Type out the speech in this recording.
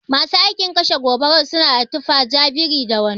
Masu aikin kashe gobara suna da tufa ja biri da wando.